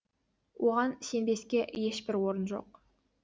оған сенбеске ешбір орын жоқ